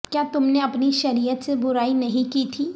کیا تم نے اپنی شریعت سے برائی نہیں کی تھی